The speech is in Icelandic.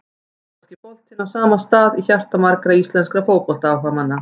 Ítalski boltinn á stað í hjarta margra íslenskra fótboltaáhugamanna.